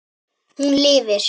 Hún lifir.